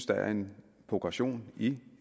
der er en progression i